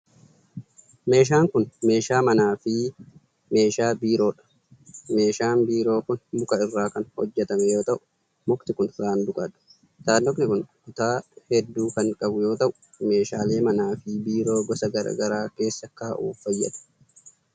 Meeshaan kun meeshaa manaa fi meeshaa biroo dha. Meeshaan biiroo kun muka irraa kan hojjatame yoo ta'u, mukti kun saanduqa dha. Saanduqni kun kutaa hedduu kan qabu yoo ta'u, meeshaalee manaa fi biiroo gosa garaa garaa keessa kaa'uuf fayyada.